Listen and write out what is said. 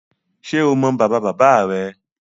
Ṣé o mọ bàbáabàbáa rẹ?